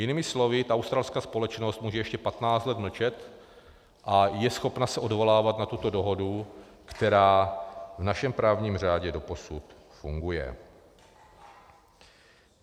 - Jinými slovy, ta australská společnost může ještě 15 let mlčet a je schopna se odvolávat na tuto dohodu, která v našem právním řádu doposud funguje.